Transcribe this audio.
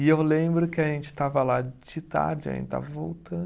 E eu lembro que a gente estava lá de tarde, a gente estava voltan